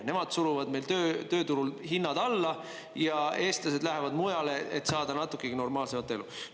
Nemad suruvad meil tööturul hinnad alla ja eestlased lähevad mujale, et saada natukegi normaalsemat elu.